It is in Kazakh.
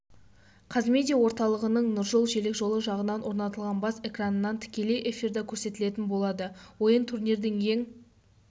қазмедиа орталығының нұржол желекжолы жағында орнатылған бас экранынан тікелей эфирде көрсетілетін болады ойын турнирдің ең